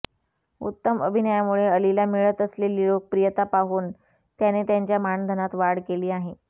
उत्तम अभिनयामुळे अलीला मिळत असलेली लोकप्रियता पाहून त्याने त्याच्या मानधनात वाढ केली आहे